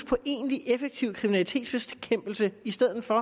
på egentlig effektiv kriminalitetsbekæmpelse i stedet for